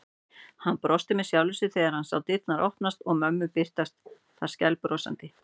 Hann brosti með sjálfum sér þegar hann sá dyrnar opnast og mömmu birtast þar skælbrosandi.